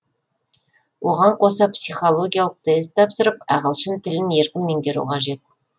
оған қоса психологиялық тест тапсырып ағылшын тілін еркін меңгеру қажет